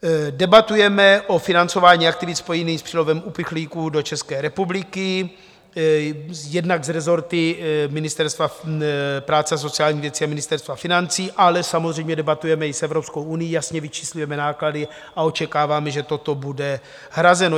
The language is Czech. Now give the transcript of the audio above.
Debatujeme o financování aktivit spojených s přílivem uprchlíků do České republiky jednak s rezorty Ministerstva práce a sociálních věcí a Ministerstva financí, ale samozřejmě debatujeme i s Evropskou unií, jasně vyčíslujeme náklady a očekáváme, že toto bude hrazeno.